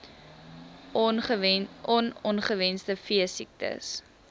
on ongewenste veesiektes